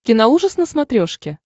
киноужас на смотрешке